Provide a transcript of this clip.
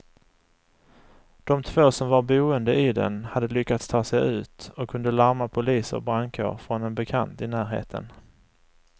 De två som var boende i den hade lyckats ta sig ut och kunde larma polis och brandkår från en bekant i närheten.